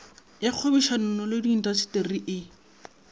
ya kgwebišanono le diintaseteri e